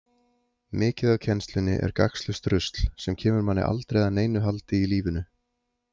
Mikið af kennslunni er gagnslaust rusl, sem kemur manni aldrei að neinu haldi í lífinu.